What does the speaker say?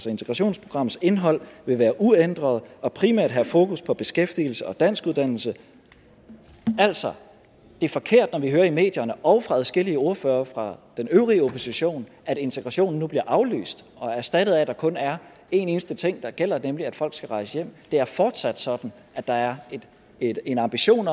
integrationsprogrammets indhold vil være uændret og primært have fokus på beskæftigelse og danskuddannelse altså det er forkert når vi hører i medierne og fra adskillige ordførere fra den øvrige opposition at integrationen nu bliver aflyst og erstattet af at der kun er en eneste ting der gælder nemlig at folk skal rejse hjem det er fortsat sådan at der er en ambition